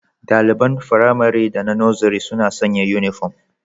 Daliban Firamare da na Nursery suna sanya uniform